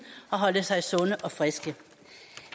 og holde sig sunde og friske